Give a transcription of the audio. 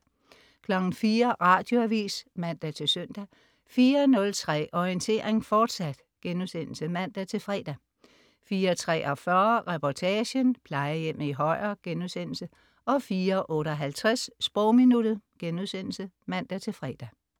04.00 Radioavis (man-søn) 04.03 Orientering, fortsat* (man-fre) 04.43 Reportagen: Plejehjemmet i Højer* 04.58 Sprogminuttet* (man-fre)